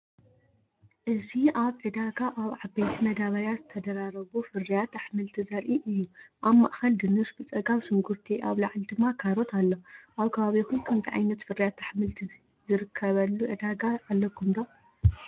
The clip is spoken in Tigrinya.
እዚ ኣብ ዕዳጋ ኣብ ዓበይቲ መዳበርያ ዝተደራረቡ ፍርያት ኣሕምልቲ ዘርኢ እዩ። ኣብ ማእከል ድንሽ ብጸጋም ሽንጉርቲ፡ ኣብ ላዕሊ ድማ ካሮት ኣሎ። ኣብ ከባቢኩም ከምዚ ዓይነት ፍርያት ኣሕምልቲ ዝርከበሉ ዕዳጋ ኣለኩም ዶ?